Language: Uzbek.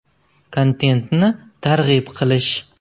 Kontentni targ‘ib qilish.